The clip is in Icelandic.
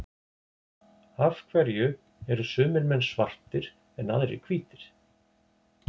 Af hverju eru sumir menn svartir en aðrir hvítir?